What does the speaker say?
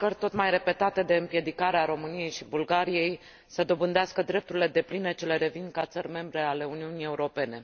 încercări tot mai repetate de împiedicare a României și Bulgariei să dobândească drepturile depline ce le revin ca țări membre ale Uniunii Europene.